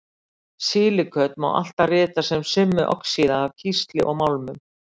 Silíköt má alltaf rita sem summu oxíða af kísli og málmum.